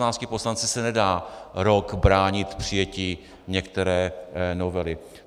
S 16 poslanci se nedá rok bránit přijetí některé novely.